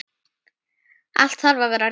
Allt þarf að vera rétt.